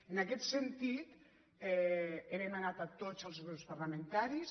en aquest sentit he demanat a tots els grups parla·mentaris